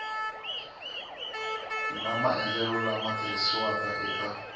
na maendlelo lama tirhisiwaka eka